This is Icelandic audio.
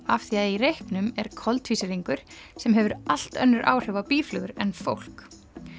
af því að í reyknum er koltvísýringur sem hefur allt önnur áhrif á býflugur en fólk